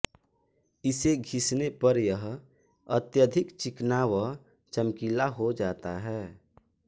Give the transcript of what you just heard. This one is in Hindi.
इसे घिसने पर यह अत्यधिक चिकना व चमकीला हो जाता है